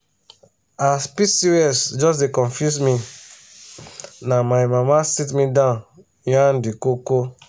as pcos just dey confuse me na my mama sit me down yarn the koko.